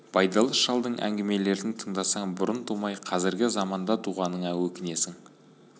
байдалы шалдың әңгімелерін тыңдасаң бұрын тумай қазіргі заманда туғаныңа өкінесің